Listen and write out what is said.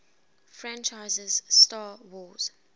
franchises 'star wars